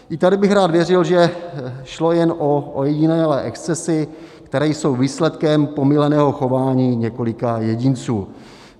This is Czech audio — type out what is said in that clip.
I tady bych rád věřil, že šlo jen o ojedinělé excesy, které jsou výsledkem pomýleného chování několika jedinců.